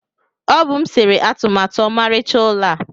Ọ bụ m sere atụmatụ ọmarịcha ụlọ a.